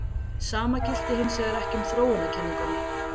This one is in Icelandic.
Sama gilti hins vegar ekki um þróunarkenninguna.